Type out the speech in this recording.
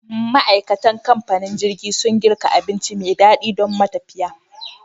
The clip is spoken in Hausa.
Ma, aikatan kamfanin jirgin sun girka abinci me daɗi domin matafiya